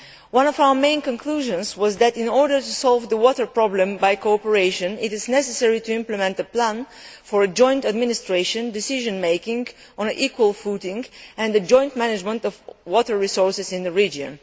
One of our main conclusions was that, in order to solve the water problem by cooperation, it is necessary to implement plans for a joint administration, decision making on an equal footing, and the joint management of water resources in the region.